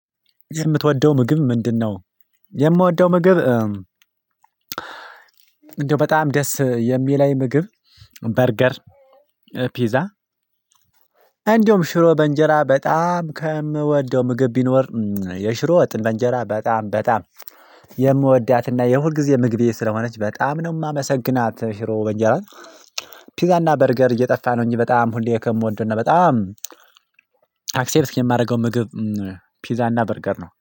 የምትወደው ምግብ ምንድነው? የምወደው ምግብ እንደው በጣም ደስ የሚለኝ ምግብ በርገር ፒዛ እንደውም ሽሮ በእንጀራ በጣም ከምወደው ምግብ ቢኖር የሽሮ ወጥ በእንጀራ በጣም በጣም የምወዳትና የሁልጊዜ ምግቤ ስለሆነች በጣም ነው የማመሰግናት ሽሮ በእንጀራ። ፒዛና በርገር እየጠፋ ነው እንጂ በጣም ሁሌ ከምወደው ነው በጣም አክሴፕት የማደርገው ምግብ ፒዛ እና በርገር ነው